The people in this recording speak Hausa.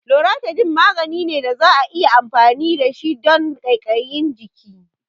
Loratidine magani ne da za'a iya amfani da shi don ƙaiƙayin jiki